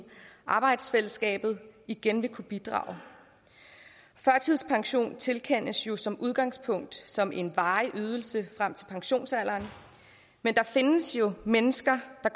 arbejdsfællesskabet igen vil kunne bidrage førtidspensionen tilkendes jo som udgangspunkt som en varig ydelse frem til pensionsalderen men der findes jo mennesker der